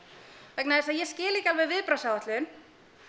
vegna þess að ég skil ekki alveg viðbragðsáætlun